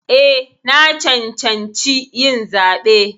Eh, na cancanci yin zaɓe.